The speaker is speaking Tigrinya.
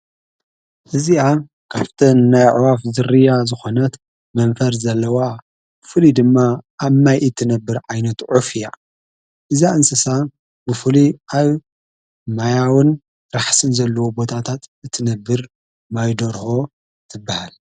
እዚኣ ካፍተን ናይ ኣዕዋፍ ዝርያ ዝኾነት መንፈር ዘለዋ ፍሊ ድማ ኣብ ማይኢ እትነብር ኣይኖት ዑፍእያ እዛ እንስሳ ብፉሊ ኣይ ማያውን ራሕስን ዘለዎ ቦታታት እትነብር ማይዶርሆ ትበሃል።